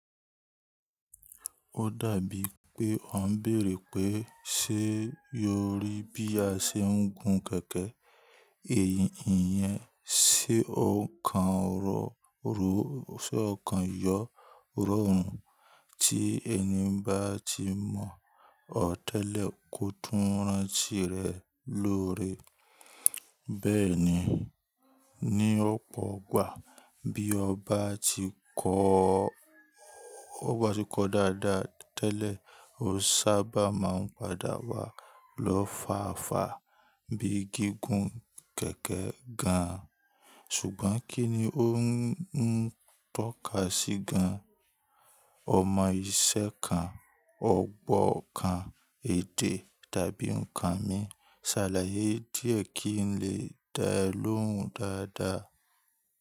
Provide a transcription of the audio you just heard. Ó dàbí pé ọ ń bèèrè pé ṣe yóò rí bí a ṣe ń gun kẹ̀kẹ́. Èyí ìyẹn se ọ̀kan rọ ro yọ rọrùn tí ẹni bá ti mọ̀ ọ́ tẹ́lẹ̀ kó tún rántí rẹ̀ lóore. Bẹ́ẹ̀ ni, ní ọ̀pọ̀ ọgbà bí ọba ti kọ́ tọ bà ti kọ dáadáa tẹ́lẹ̀, ó sábà máa ń padà wá lọ́fáfá bí gígùn kẹ̀kẹ́ gan-an. Ṣùgbọ́n kí ni ó ń tọ́ka sí gan-an? Ọmọ iṣẹ́ kan, ọ̀gbọ́ kan, èdè tàbí nǹkan mí. Ṣàlàyé díẹ̀ kí n lè dá ẹ lóhùn dáadáa.